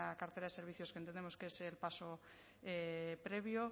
cartera de servicios que entendemos que es el paso previo